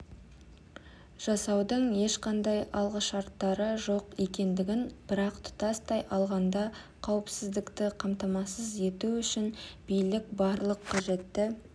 жасаудың ешқандай алғышарттары жоқ екендігін бірақ тұтастай алғанда қауіпсіздікті қамтамасыз ету үшін билік барлық қажетті